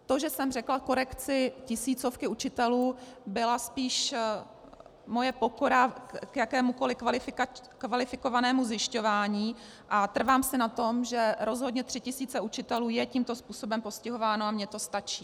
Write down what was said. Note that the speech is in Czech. To, že jsem řekla korekci tisícovky učitelů, byla spíš moje pokora k jakémukoli kvalifikovanému zjišťování a trvám si na tom, že rozhodně tři tisíce učitelů je tímto způsobem postihováno, a mně to stačí.